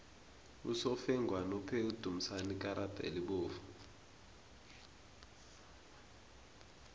usofengwana uphe udumisani ikarada elibovu